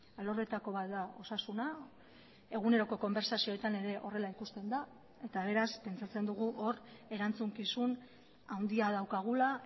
alorretako bat da osasuna eguneroko konbertsazioetan ere horrela ikusten da eta beraz pentsatzen dugu hor erantzukizun handia daukagula